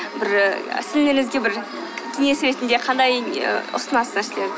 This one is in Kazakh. бір і сіңлілеріңізге бір кеңес ретінде қандай не і ұсынасыз